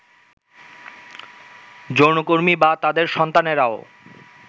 যৌনকর্মী বা তাঁদের সন্তানেরাও